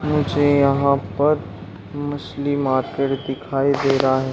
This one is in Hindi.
मुझे यहाँ पर मछली मार्केट दिखाई दे रहा है।